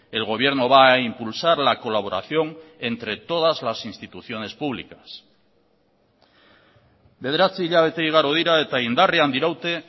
el gobierno va a impulsar la colaboración entre todas las instituciones públicas bederatzi hilabete igaro dira eta indarrean diraute